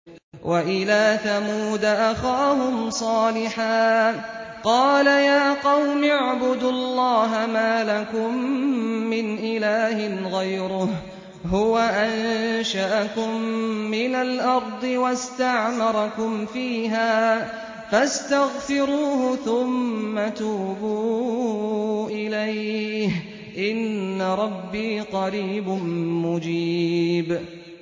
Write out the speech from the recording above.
۞ وَإِلَىٰ ثَمُودَ أَخَاهُمْ صَالِحًا ۚ قَالَ يَا قَوْمِ اعْبُدُوا اللَّهَ مَا لَكُم مِّنْ إِلَٰهٍ غَيْرُهُ ۖ هُوَ أَنشَأَكُم مِّنَ الْأَرْضِ وَاسْتَعْمَرَكُمْ فِيهَا فَاسْتَغْفِرُوهُ ثُمَّ تُوبُوا إِلَيْهِ ۚ إِنَّ رَبِّي قَرِيبٌ مُّجِيبٌ